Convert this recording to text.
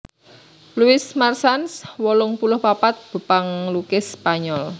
Luis Marsans wolung puluh papat panglukis Spanyol